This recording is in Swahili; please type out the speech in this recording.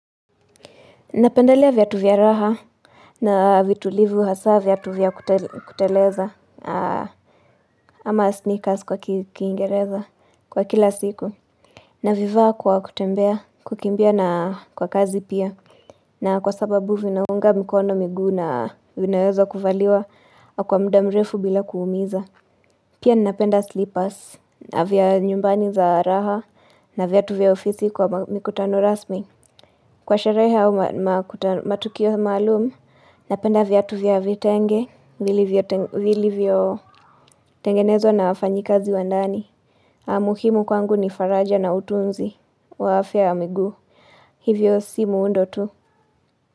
Napendelea viatu vya raha na vitulivu hasa viatu vya kuteleza ama sneakers kwa kiingereza kwa kila siku. Navivaa kwa kutembea, kukimbia na kwa kazi pia. Na kwa sababu vinaunga mkono miguu na vinaezwa kuvaliwa kwa muda mrefu bila kuumiza. Pia napenda slippers na vya nyumbani za raha na viatu vya ofisi kwa mikutano rasmi. Kwa sherehe au matukio maalumu, napenda viatu vya vitenge, vilivyo tengenezwa na wafanyikazi wa ndani. Na muhimu kwangu ni faraja na utunzi. Kwa afya ya miguu, hivyo si muundo tu.